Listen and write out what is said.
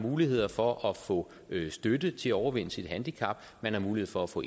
muligheder for at få støtte til at overvinde sit handicap man har mulighed for at få